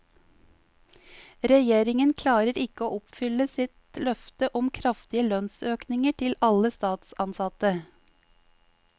Regjeringen klarer ikke å oppfylle sitt løfte om kraftige lønnsøkninger til alle statsansatte.